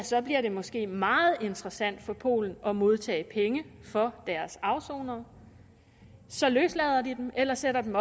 så bliver det måske meget interessant for polen at modtage penge for deres afsonere så løslader de dem eller sætter dem